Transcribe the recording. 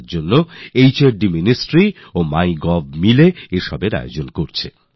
hard ministry এবং MyGovএর team মিলে এর প্রস্তুতি নিচ্ছে